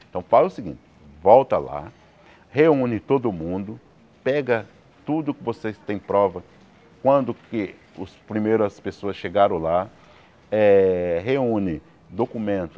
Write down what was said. Então fala o seguinte, volta lá, reúne todo mundo, pega tudo que vocês têm prova, quando que os primeiras pessoas chegaram lá, eh reúne, documento,